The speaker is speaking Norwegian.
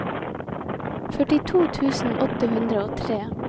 førtito tusen åtte hundre og tre